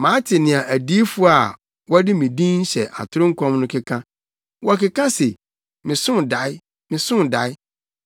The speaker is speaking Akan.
“Mate nea adiyifo a wɔde me din hyɛ atoro nkɔm no keka. Wɔkeka se, ‘Mesoo dae! Mesoo dae!’